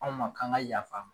Anw ma k'an ka yaf'a ma.